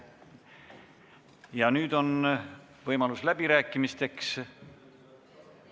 Ja nüüd on võimalus läbirääkimisteks.